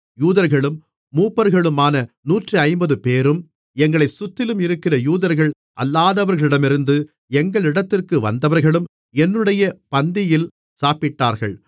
யூதர்களும் மூப்பர்களுமான நூற்றைம்பதுபேரும் எங்களைச் சுற்றிலும் இருக்கிற யூதர்கள் அல்லாதவர்களிடமிருந்து எங்களிடத்திற்கு வந்தவர்களும் என்னுடைய பந்தியில் சாப்பிட்டார்கள்